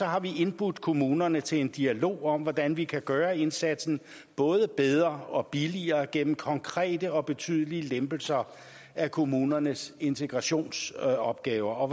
har vi indbudt kommunerne til en dialog om hvordan vi kan gøre indsatsen både bedre og billigere gennem konkrete og betydelige lempelser af kommunernes integrationsopgaver og